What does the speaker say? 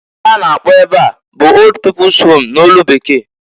Ihe a na-akpọ ebe a bụ old people's home n'olu Bekee.